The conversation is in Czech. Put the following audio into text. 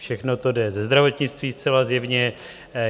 Všechno to jde ze zdravotnictví zcela zjevně.